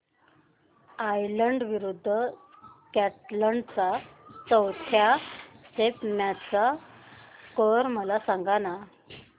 Ireland विरूद्ध Scotland च्या चौथ्या टेस्ट मॅच चा स्कोर मला सांगना